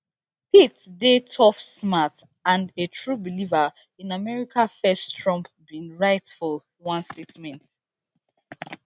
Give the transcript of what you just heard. pete dey tough smart and a true believer in america first trump bin write for one statement